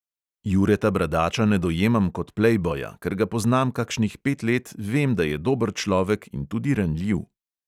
Jureta bradača ne dojemam kot plejboja, ker ga poznam kakšnih pet let, vem, da je dober človek in tudi ranljiv.